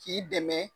K'i dɛmɛ